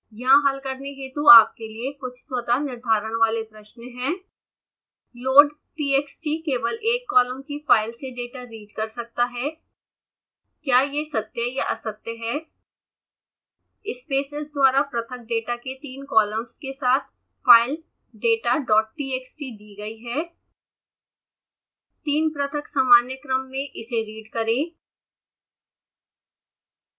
यहाँ हल करने हेतु आपके लिए कुछ स्वतः निर्धारण वाले प्रश्न हैं